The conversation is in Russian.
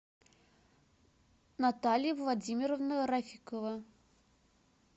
наталья владимировна рафикова